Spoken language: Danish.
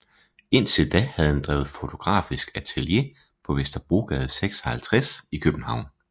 Indtil da havde han drevet fotografisk atelier på Vesterbrogade 56 i København